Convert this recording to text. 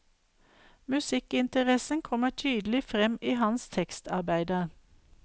Musikkinteressen kommer tydelig frem i hans tekstarbeider.